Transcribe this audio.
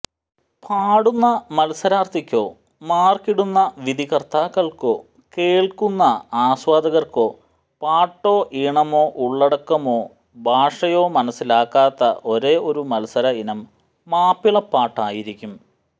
പാടുന്ന മത്സരാര്ഥിക്കോ മാര്ക്കിടുന്ന വിധികര്ത്താക്കള്ക്കോ കേള്ക്കുന്ന ആസ്വാദകര്ക്കോ പാട്ടോ ഈണമോ ഉള്ളടക്കമോ ഭാഷയോ മനസ്സിലാകാത്ത ഒരേയൊരു മത്സര ഇനം മാപ്പിളപ്പാട്ടായിരിക്കും